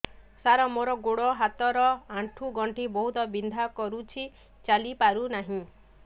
ସାର ମୋର ଗୋଡ ହାତ ର ଆଣ୍ଠୁ ଗଣ୍ଠି ବହୁତ ବିନ୍ଧା କରୁଛି ଚାଲି ପାରୁନାହିଁ